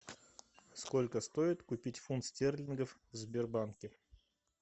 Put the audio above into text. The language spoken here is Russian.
сколько стоит купить фунт стерлингов в сбербанке